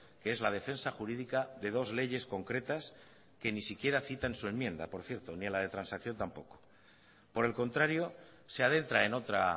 que es la defensa jurídica de dos leyes concretas que ni siquiera cita en su enmienda por cierto ni a la de transacción tampoco por el contrario se adentra en otra